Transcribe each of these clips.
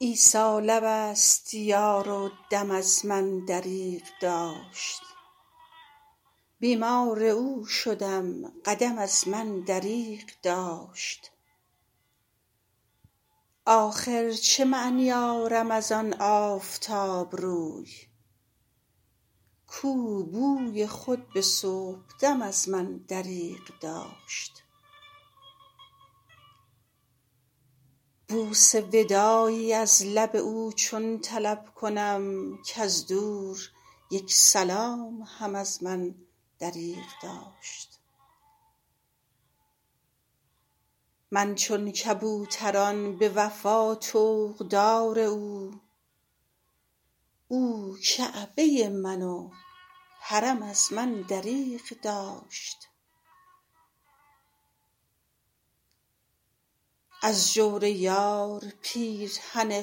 عیسی لب است یار و دم از من دریغ داشت بیمار او شدم قدم از من دریغ داشت آخر چه معنی آرم از آن آفتاب روی کو بوی خود به صبح دم از من دریغ داشت بوس وداعی از لب او چون طلب کنم کز دور یک سلام هم از من دریغ داشت من چون کبوتران به وفا طوق دار او او کعبه من و حرم از من دریغ داشت از جور یار پیرهن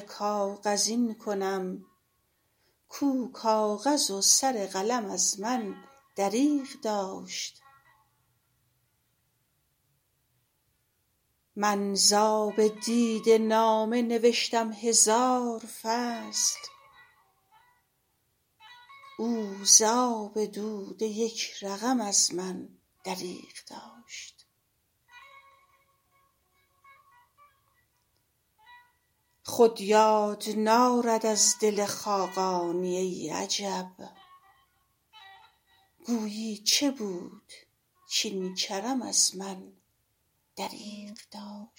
کاغذین کنم کو کاغذ و سر قلم از من دریغ داشت من ز آب دیده نامه نوشتم هزار فصل او ز آب دوده یک رقم از من دریغ داشت خود یار نارد از دل خاقانی ای عجب گویی چه بود کاین کرم از من دریغ داشت